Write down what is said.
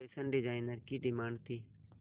fashion designer की demand थी